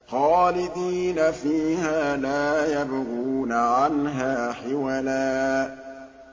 خَالِدِينَ فِيهَا لَا يَبْغُونَ عَنْهَا حِوَلًا